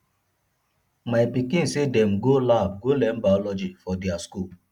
my pikin sey dem dey go lab go learn biology for their skool